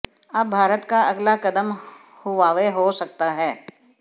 अब भारत का अगला कदम हुवावे हो सकता है